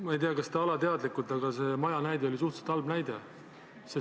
Ma ei tea, kas te tegite seda alateadlikult, aga see maja näide oli suhteliselt halb.